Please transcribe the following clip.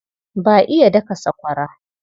Ba iya daka sakwara.